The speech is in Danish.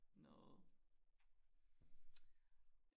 noget